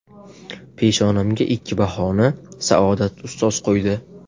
Peshonamga ikki bahoni Saodat ustoz qo‘ydi.